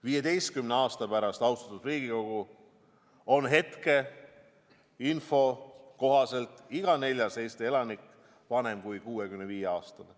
15 aasta pärast, austatud Riigikogu, on hetkeinfo kohaselt iga neljas Eesti elanik vanem kui 65-aastane.